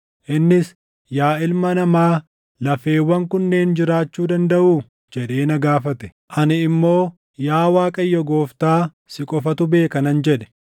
Innis, “Yaa ilma namaa, lafeewwan kunneen jiraachuu dandaʼuu?” jedhee na gaafate. Ani immoo, “Yaa Waaqayyo Gooftaa, si qofatu beeka” nan jedhe.